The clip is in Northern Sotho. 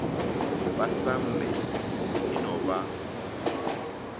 ba samme e no ba